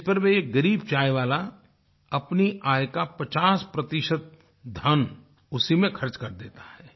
जिस पर ये ग़रीब चाय वाला अपनी आय का 50 धन उसी में खर्च कर देता है